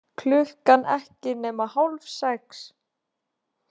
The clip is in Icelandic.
Klukkan ekki nema hálf sex.